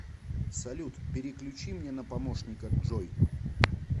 салют переключи мне на помощника джой